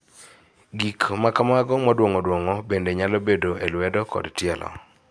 Gik ma kamago moduong'o duong'o bende nyalo bedo e lwedo kod tielo.